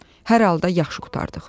Hər halda yaxşı qurtardıq.